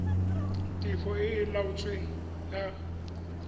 tefo e e laotsweng ya